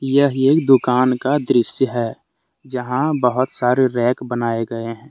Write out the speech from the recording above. यह एक दुकान का दृश्य है जहां बहुत सारे रैक बनाए गए है।